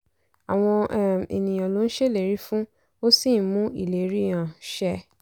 àwọn um ènìyàn ló ń ṣèlérí fún ó sì ń mú ìlérí um ṣẹ.